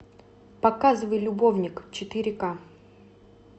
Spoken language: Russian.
показывай любовник четыре ка